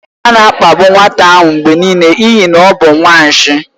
A na-akpagbu nwata ahụ mgbe niile n'ihi na ọ bụ nwanshi.